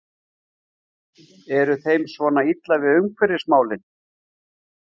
Er þeim svona illa við umhverfismálin?